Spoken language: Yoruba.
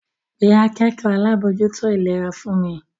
Pe akẹ́kọ̀ọ́ alábòójútó ìlera fún mi!